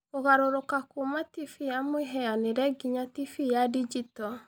Kũgarũrũka kuuma TV ya mũhianĩre nginya TV ya digito